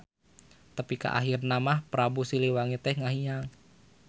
Tepi ka ahirna mah Prabu Siliwangi teh ngahiang.